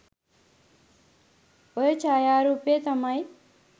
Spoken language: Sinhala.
ඔය ඡායාරූපය තමයි